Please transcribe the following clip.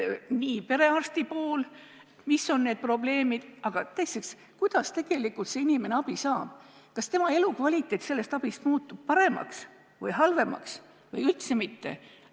Esiteks tuleb vaadata, mis on perearsti probleemid, aga teiseks, kuidas see inimene abi saab – kas tema elukvaliteet muutub sellest abist paremaks või halvemaks või ei muutu üldse?